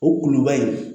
O kuluba in